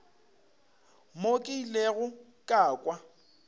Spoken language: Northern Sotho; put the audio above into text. mo ke ilego ka kwa